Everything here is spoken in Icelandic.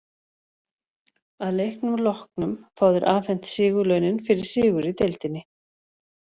Að leiknum loknum fá þeir afhent sigurlaunin fyrir sigur í deildinni.